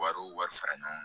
Wariw wari fara ɲɔgɔn kan